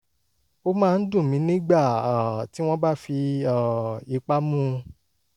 ó máa ń dùn mí nígbà um tí wọ́n bá fi um ipá mú un